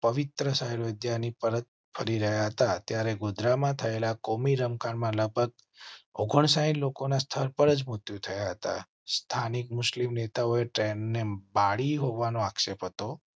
પવિત્ર સંવિધાનિક પરત ફરી રહ્યા હતા ત્યારે ગોધરા માં થયેલા કોમી રમખાણ માં લગભગ ઓગણસાઈટ લોકોને સ્થળ પર જ મૃત્યુ થયાં હતાં. સ્થાનિક મુસ્લિમ નેતાઓએ ટ્રેન એ બાળી હોવા નો આક્ષેપ હતો